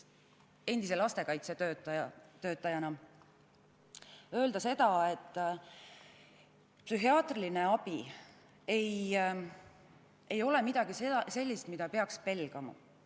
Endise lastekaitsetöötajana tahan omalt poolt öelda seda, et psühhiaatriline abi ei ole midagi sellist, mida peaks pelgama.